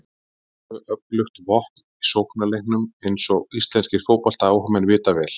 Mjög öflugt vopn í sóknarleiknum eins og íslenskir fótboltaáhugamenn vita vel.